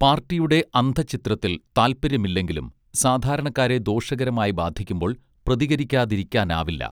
പാർട്ടിയുടെ അന്തഃഛിദ്രത്തിൽ താത്പര്യം ഇല്ലെങ്കിലും സാധാരണക്കാരെ ദോഷകരമായി ബാധിക്കുമ്പോൾ പ്രതികരിക്കാതിരിക്കാനാവില്ല